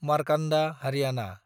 Markanda Haryana